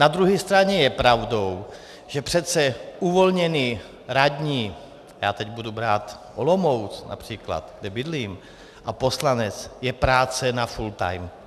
Na druhé straně je pravdou, že přece uvolněný radní, já teď budu brát Olomouc například, kde bydlím, a poslanec, je práce na full time.